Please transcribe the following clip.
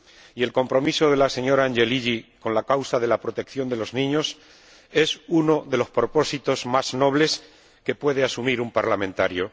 Y el compromiso de la señora Angelilli con la causa de la protección de los niños es uno de los propósitos más nobles que puede asumir un parlamentario.